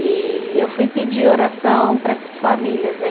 E eu fui pedir oração para essas famílias, né?